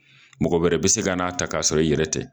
Mɔgɔ wɛrɛ bɛ se ka n'a ta, k'a sɔrɔ i yɛrɛ tɛ.